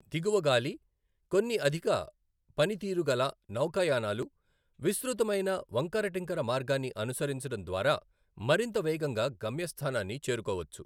దిగువ గాలి, కొన్ని అధిక పనితీరుగల నౌకాయానాలు విస్తృతమైన వంకరటింకర మార్గాన్ని అనుసరించడం ద్వారా మరింత వేగంగా గమ్యస్థానాన్ని చేరుకోవచ్చు.